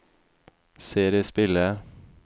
CD-spiller